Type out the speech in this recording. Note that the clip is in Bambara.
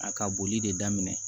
A ka boli de daminɛ